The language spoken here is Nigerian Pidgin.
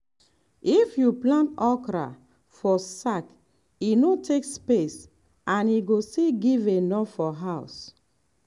if you plant okra for sack e no take space and e go still give enough for house.